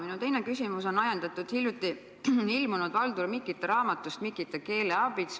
Minu teine küsimus on ajendatud hiljuti ilmunud Valdur Mikita raamatust "Mikita keeleaabits.